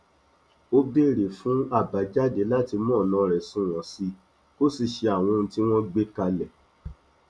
ó béèrè fún àbàjáde láti mú ọnà rẹ sunwọn sí i kó sì ṣe àwọn ohun tí wọn gbé kalẹ